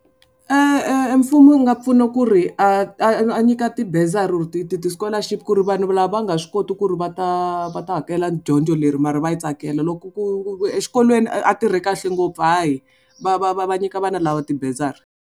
Mfumo wu nga pfuna ku ri a nyika tibazari ti ti ti-scholarship ku ri vanhu lava va nga swi koti ku ri va ta va ta hakela dyondzo leri mara va yi tsakela loko ku exikolweni a tirhe kahle ngopfu hayi va va va va nyika vana lava tibazari.